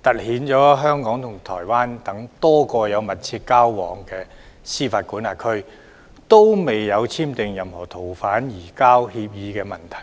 凸顯香港與台灣等多個有密切交往的司法管轄區未有簽訂逃犯移交協定的問題。